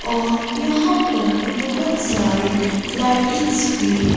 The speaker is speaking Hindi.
और यहां पर बहुत सारी लाइटिंग्स भी--